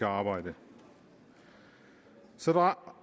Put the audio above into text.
arbejde så